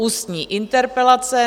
Ústní interpelace